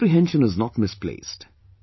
Your apprehension is not misplaced